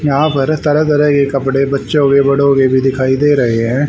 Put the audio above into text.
यहां पर तरह-तरह के कपडे बच्चों के बड़ो के भी दिखाइ दे रहे हैं।